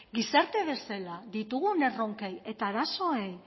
gizarte bezala ditugun erronkei eta arazoei